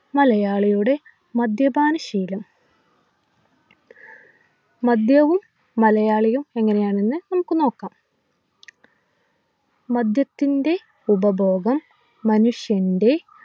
മലയാളിയുടെ മദ്യപാനശീലം മദ്യവും മലയാളിയും എങ്ങനെയാണെന്ന് നമുക്ക് നോക്കാം മദ്യത്തിൻ്റെ ഉപഭോഗം മനുഷ്യൻ്റെ